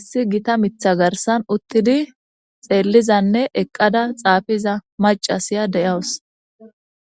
issi gita mitha garsan uttidi xeellizanne eqqada xaafiza macasiya deyawus